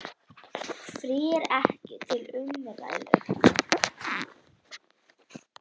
Frí er ekki til umræðu.